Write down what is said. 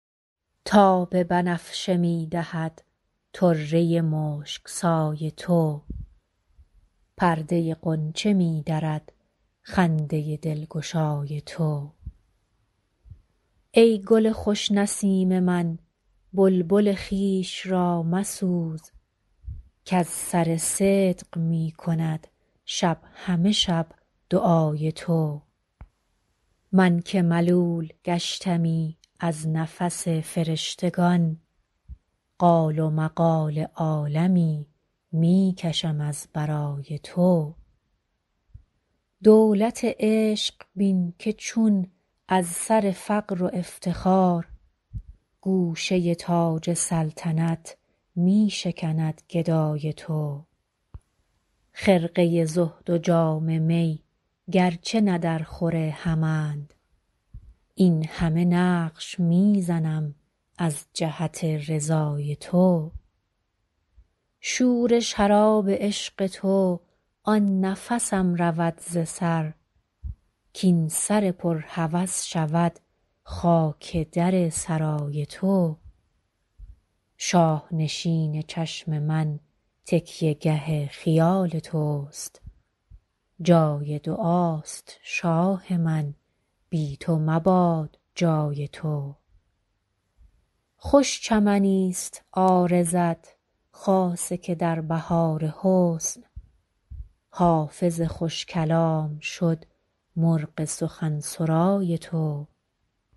تاب بنفشه می دهد طره مشک سای تو پرده غنچه می درد خنده دلگشای تو ای گل خوش نسیم من بلبل خویش را مسوز کز سر صدق می کند شب همه شب دعای تو من که ملول گشتمی از نفس فرشتگان قال و مقال عالمی می کشم از برای تو دولت عشق بین که چون از سر فقر و افتخار گوشه تاج سلطنت می شکند گدای تو خرقه زهد و جام می گرچه نه درخور همند این همه نقش می زنم از جهت رضای تو شور شراب عشق تو آن نفسم رود ز سر کاین سر پر هوس شود خاک در سرای تو شاه نشین چشم من تکیه گه خیال توست جای دعاست شاه من بی تو مباد جای تو خوش چمنیست عارضت خاصه که در بهار حسن حافظ خوش کلام شد مرغ سخن سرای تو